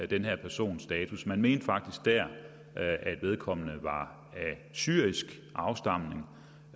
den her persons status man mente faktisk der at vedkommende var af syrisk afstamning